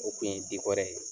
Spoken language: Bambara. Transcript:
O kun ye dikɔrɛ ye.